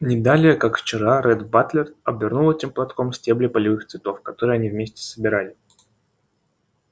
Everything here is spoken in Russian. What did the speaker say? не далее как вчера ретт батлер обернул этим платком стебли полевых цветов которые они вместе собирали